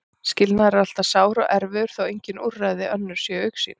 Skilnaður er alltaf sár og erfiður þó að engin úrræði önnur séu í augsýn.